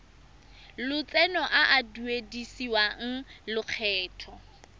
lotseno a a duedisiwang lokgetho